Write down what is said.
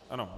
Ano.